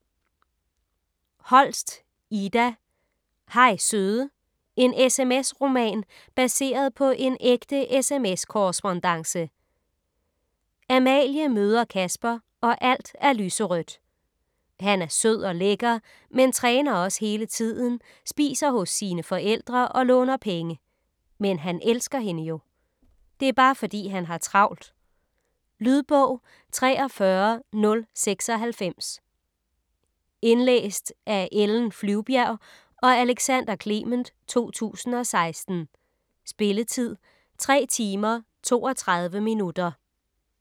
Holst, Ida: Hej søde: en SMS-roman: baseret på en ægte SMS-korrespondance Amalie møder Kasper og alt er lyserødt. Han er sød og lækker men træner også hele tiden, spiser hos sine forældre og låner penge. Men han elsker hende jo. Det er bare fordi, han har travlt. Lydbog 43096 Indlæst af Ellen Flyvbjerg og Alexander Clement, 2016. Spilletid: 3 timer, 32 minutter.